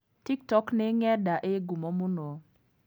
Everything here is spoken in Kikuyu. TikTok nĩ Ng'enda ĩĩ ngumo mũno.